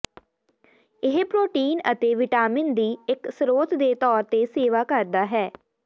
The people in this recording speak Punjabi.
ਇਹ ਪ੍ਰੋਟੀਨ ਅਤੇ ਵਿਟਾਮਿਨ ਦੀ ਇੱਕ ਸਰੋਤ ਦੇ ਤੌਰ ਤੇ ਸੇਵਾ ਕਰਦਾ ਹੈ